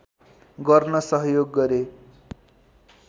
गर्न सहयोग गरे